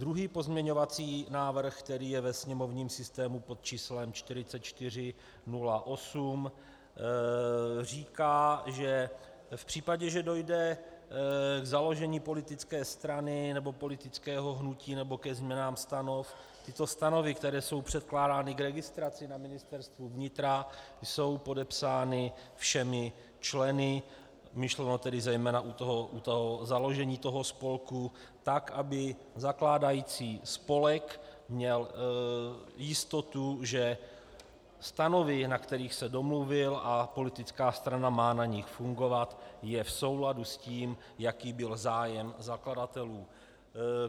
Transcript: Druhý pozměňovací návrh, který je ve sněmovním systému pod číslem 4408, říká, že v případě, že dojde k založení politické strany nebo politického hnutí nebo ke změnám stanov, tyto stanovy, které jsou předkládány k registraci na Ministerstvu vnitra, jsou podepsány všemi členy, myšleno tedy zejména u toho založení toho spolku, tak aby zakládající spolek měl jistotu, že stanovy, na kterých se domluvil a politická strana má na nich fungovat, jsou v souladu s tím, jaký byl zájem zakladatelů.